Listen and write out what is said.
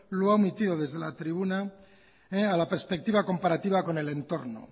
lo ha omitido desde la tribuna a la perspectiva comparativa con el entorno